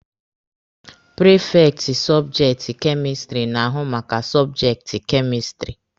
Prifekti sọbjekti kemistiri na-ahụ maka sọbjekti kemistiri.